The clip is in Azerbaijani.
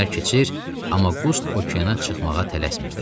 Günlər keçir, amma Qust okeana çıxmağa tələsmirdi.